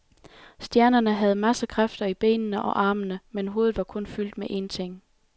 Stjernerne havde masser kræfter i benene og armene, men hovedet var kun fyldt med en ting.